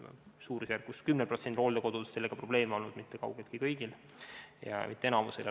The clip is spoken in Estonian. Suurusjärgus 10%-l hooldekodudest on sellega probleeme olnud, seega kaugeltki mitte kõigil ja mitte enamikul.